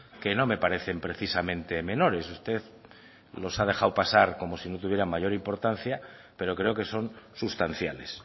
que no me parecen precisamente menores usted los ha dejado pasar como si no tuvieran mayor importancia pero creo que son sustanciales